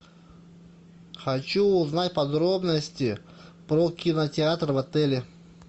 хочу узнать подробности про кинотеатр в отеле